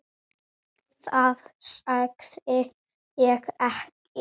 Það sagði ég ekki